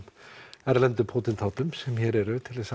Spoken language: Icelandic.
erlendu sem hér eru til